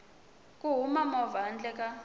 ku hava movha handle ka